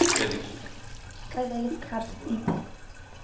xelel kabs iphi